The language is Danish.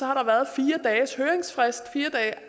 har der været fire